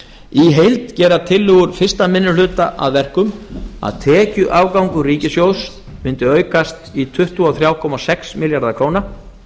í heild gera tillögur fyrsti minni hluta að verkum að tekjuafgangur ríkissjóðs mundi aukast í tuttugu og þrjú komma sex milljarða króna